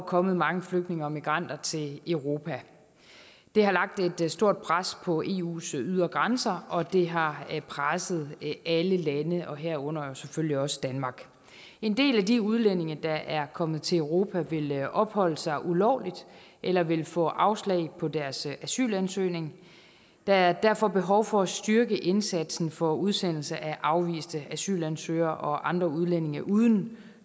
år kommet mange flygtninge og migranter til europa det har lagt et stort pres på eus ydre grænser og det har presset alle lande herunder selvfølgelig også danmark en del af de udlændinge der er kommet til europa vil opholde sig ulovligt eller vil få afslag på deres asylansøgning der er derfor behov for at styrke indsatsen for udsendelse af afviste asylansøgere og andre udlændinge uden